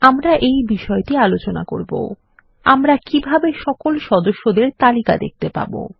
আমরা এই বিষয়টি আলোচনা করব160 আমরা কিভাবে সকল সদস্যদের তালিকা দেখতে পাবো160